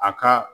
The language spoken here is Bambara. A ka